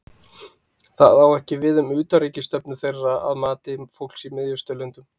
það á ekki við um utanríkisstefnu þeirra að mati fólks í miðausturlöndum